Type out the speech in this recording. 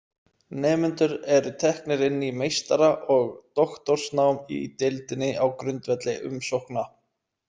Nemendur eru teknir inn í meistara- og doktorsnám í deildinni á grundvelli umsókna.